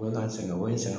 O bɛ ka n sɛgɛn o sɛgɛn